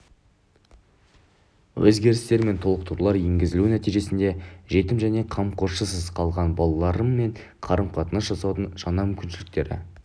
өзгерістер мен толықтырулар енгізілуі нәтижесінде жетім және қамқоршысыз қалған балалармен қарым қатынас жасаудың жаңа мүмкіншіліктері